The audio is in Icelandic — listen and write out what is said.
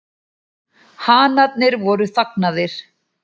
Hanarnir voru þagnaðir.